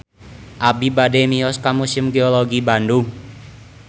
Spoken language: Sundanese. Abi bade mios ka Museum Geologi Bandung